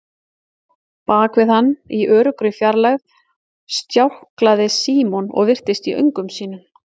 Bak við hann, í öruggri fjarlægð, stjáklaði Símon og virtist í öngum sínum.